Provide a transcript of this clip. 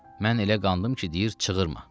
Mən elə qandım ki, deyir çığırma.